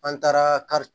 An taara kari